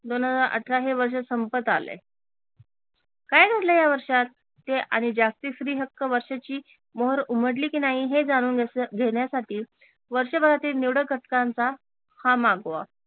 दोन हजार अठरा हे वर्ष संपत आलय काय घडल या वर्षात? ते आणि जागतिक स्त्री हक्क वर्षाची मोहोर उमटली की नाही हे जाणून घेण्यासाठी वर्षभरातील निवडक घटकांचा हा मागोवा